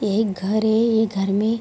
एक घर है ये घर में --